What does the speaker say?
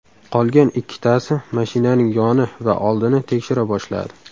Qolgan ikkitasi mashinaning yoni va oldini tekshira boshladi.